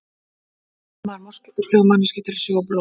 Hvernig finnur moskítófluga manneskju til að sjúga blóð?